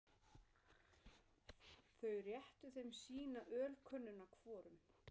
Þau réttu þeim sína ölkönnuna hvorum.